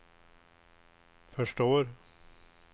förstår